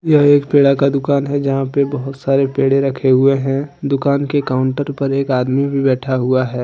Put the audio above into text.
यह एक पेड़ा का दुकान है जहां पे बहुत सारे पेड़े रखे हुए हैं दुकान के काउंटर पर एक आदमी भी बैठा हुआ है।